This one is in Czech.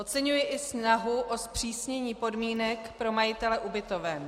Oceňuji i snahu o zpřísnění podmínek pro majitele ubytoven.